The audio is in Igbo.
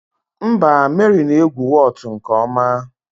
Mba, Mary na-egwu Whot nke ọma